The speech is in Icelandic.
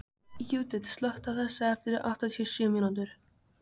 Júdit, slökktu á þessu eftir áttatíu og sjö mínútur.